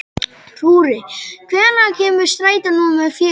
Rúrí, hvenær kemur strætó númer fjögur?